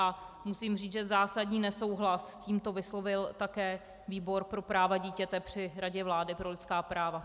A musím říct, že zásadní nesouhlas s tímto vyslovil také výbor pro práva dítěte při Radě vlády pro lidská práva.